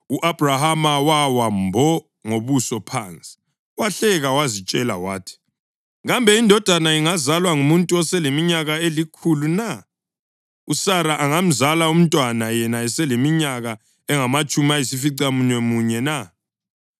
U-Abhrahama wawa wathi mbo ngobuso phansi; wahleka wazitshela wathi, “Kambe indodana ingazalwa ngumuntu oseleminyaka elikhulu na? USara angamzala umntwana yena eseleminyaka engamatshumi ayisificamunwemunye na?”